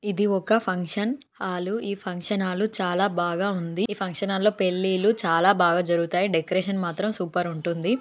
ఇది ఒక function hall ఈ ఫంక్షన్ హాలు చాలా బాగా ఉంది ఈ ఫంక్షన్ హాలులో పెళ్లిళ్లు చాలా బాగా జరుగుతాయి డెకరేషన్ మాత్రం సూప్ ఉంటుంది.